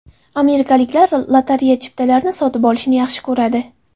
Amerikaliklar lotereya chiptalarini sotib olishni yaxshi ko‘radi.